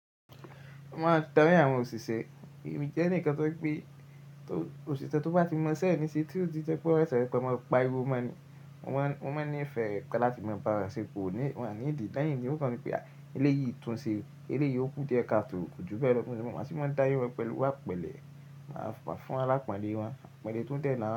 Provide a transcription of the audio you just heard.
Mo máa darí àwọn òṣìṣẹ́. Èmi jẹ́ ẹnìkan tó pé òṣìṣẹ́ tó bá ti mọ̀ sẹ́yìn ní sí tí ò tí jẹ kò rẹ̀sẹ̀, pé mo pa irú ọmọ ní, ọmọ ní ìfẹ́ rẹ̀ pẹ̀lú tí mo bá rẹ̀sẹ̀ kò ní, wọ́n á ní ìdí. Lẹ́yìn ní ó kan mi pé eléyìí túnṣe, eléyìí ó kú díẹ̀ káàtó, ó ju bẹ́ẹ̀ lọ. Mo sí máa ń darí pẹ̀lú pẹ̀lú wa pẹ̀lẹ́. Máa fún alápànle wọn, apànle tó tẹ́ ẹ lára.